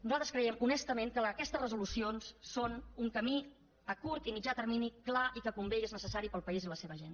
nosaltres creiem honestament que aquestes resolucions són un camí a curt i mitjà termini clar i que convé i és necessari per al país i la seva gent